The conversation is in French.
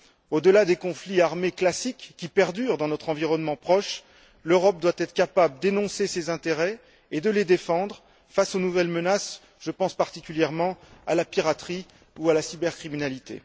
Au delà des conflits armés classiques qui perdurent dans notre environnement proche, l'Europe doit être capable d'énoncer ses intérêts et de les défendre face aux nouvelles menaces, je pense particulièrement à la piraterie ou à la cybercriminalité.